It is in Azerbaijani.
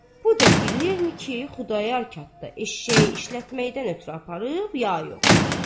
Bu da bilirmi ki, Xudayar Katda eşşəyi işlətməkdən ötrü aparıb, ya yox?